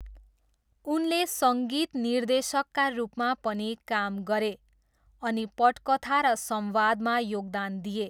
उनले सङ्गीत निर्देशकका रूपमा पनि काम गरे अनि पटकथा र संवादमा योगदान दिए।